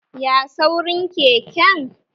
Ya saurin keken?